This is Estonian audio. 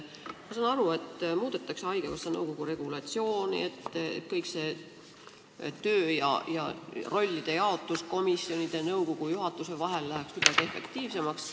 Ma saan aru, et muudetakse haigekassa nõukogu regulatsiooni, et töö ja rollide jaotus komisjonide, nõukogu ja juhatuse vahel läheks efektiivsemaks.